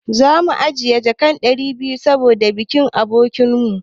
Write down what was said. Za mu ajiye jaka ɗari biyu saboda bikin abokin mu.